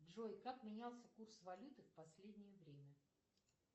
джой как менялся курс валюты в последнее время